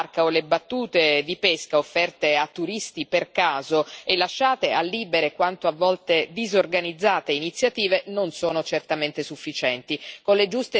Le escursioni in barca o le battute di pesca offerte a turisti per caso e lasciate a libere e a volte disorganizzate iniziative non sono certamente sufficienti.